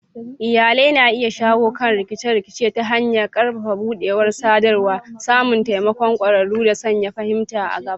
Iyalai na iya shawo kan rikice-rikice ta hanyar ƙarfafa buɗewar sadarwa, samun taimakon ƙwararru, da sanya fahimta a gaba.